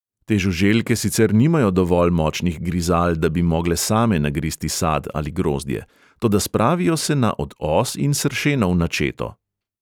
Te žuželke sicer nimajo dovolj močnih grizal, da bi mogle same nagristi sad ali grozdje, toda spravijo se na od os in sršenov načeto.